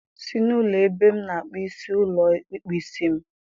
Si na ụlọ ebe m na-akpụ isi ụlọ ịkpụ isi m!